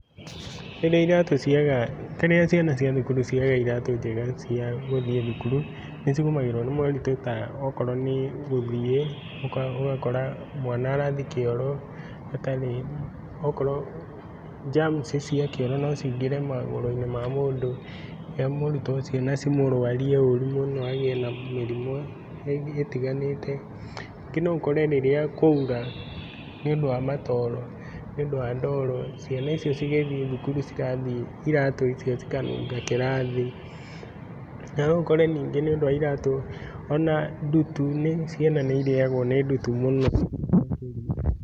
Rĩrĩa iratũ ciaga rĩrĩa ciana cia thukuru ciaga iratũ njega cia thukuru, nĩcigomagĩrwo nĩmoritũ ta okorwo nĩgũthiĩ, ũgakora mwana arathiĩ kĩoro atarĩ, okorwo jamci cia kĩoro nocingĩre magũrũ-inĩ ma mũndũ ma mũrutwo ũcio na cimũrwarie ũru mũno agĩe na mĩrimũ ũtiganĩte. Nyingĩ noũkore rĩrĩa kwaura nĩũndũ wa matoro, nĩũndũ wa ndoro, ciana cigĩthiĩ thukuru cirathiĩ iratũ icio ikanunga kĩraathi . Nanoũkore nyingĩ nĩũndũ wa iratũ ona ndutu ciana nĩirĩagwo nĩ ndutu mũno